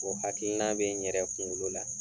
O hakilina bɛ n yɛrɛ kungolo la.